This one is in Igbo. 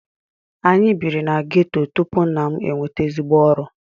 Anyị bírí na ghetto tupu nna m enweta ezigbo ọrụ.